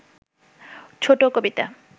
ছোট কবিতা